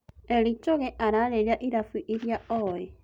Eli Choge arĩrĩria ĩrabu iria oĩ